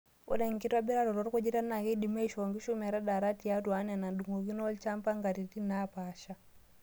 Ore enkitobiraroto orkujita naa keidimi aishoo nkishu metadaata tiatwa enaa edung'okini olchampa nkatitin naapasha.